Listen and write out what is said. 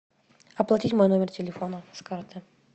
оплатить мой номер телефона с карты